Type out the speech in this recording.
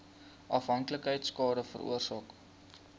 afhanklikheid skade veroorsaak